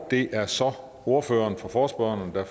det er så ordføreren for forespørgerne der